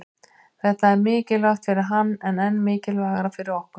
Þetta er mikilvægt fyrir hann en enn mikilvægara fyrir okkur